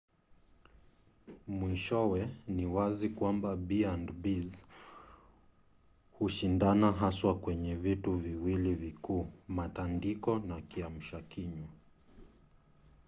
mwishowe ni wazi kwamba b&bs hushindana haswa kwenye vitu viwili vikuu: matandiko na kiamsha kinywa